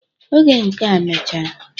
Oge nke a mechara